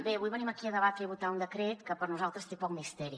bé avui venim aquí a debatre i votar un decret que per nosaltres té poc misteri